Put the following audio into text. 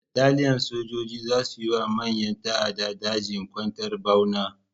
Bataliyan sojoji za su yi ma ƴan ta'addar daji kwantar ɓauna.